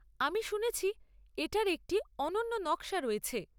আমি শুনেছি এটার একটি অনন্য নকশা রয়েছে।